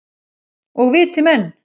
Og viti menn.